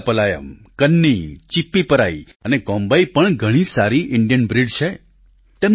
રાજાપલાયમ કન્ની ચિપ્પીપરાઈ અને કોમ્બાઈ પણ ઘણી સારી ઈન્ડિયન બ્રિડ છે